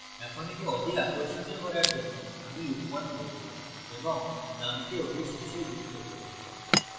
এখন একে অধিক আকর্ষণীয় করার জন্য আমি loop 1 বলবো এবং num কে ওটির শেষে যুক্ত করবো